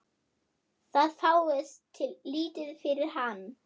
Það fáist lítið fyrir hann.